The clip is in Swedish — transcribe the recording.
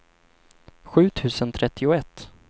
sju tusen trettioett